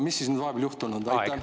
Mis siis nüüd vahepeal juhtunud on?